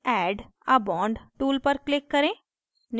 add a bond tool पर click करें